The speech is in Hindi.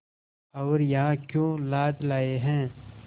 और यहाँ क्यों लाद लाए हैं